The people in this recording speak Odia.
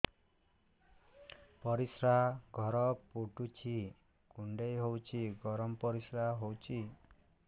ପରିସ୍ରା ଘର ପୁଡୁଚି କୁଣ୍ଡେଇ ହଉଚି ଗରମ ପରିସ୍ରା ହଉଚି